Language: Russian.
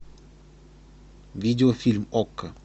видеофильм окко